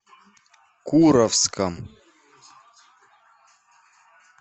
куровском